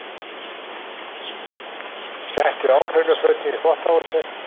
Settu óhreinu fötin í þvottahúsið.